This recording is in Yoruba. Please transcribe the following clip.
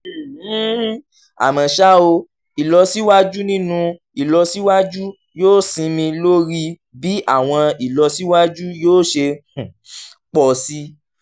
um um àmọ́ ṣá o ìlọsíwájú nínú ìlọsíwájú yóò sinmi lórí bí àwọn ìlọsíwájú yóò ṣe um pọ̀ sí